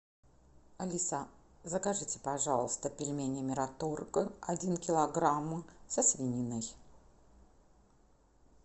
алиса закажите пожалуйста пельмени мираторг один килограмм со свининой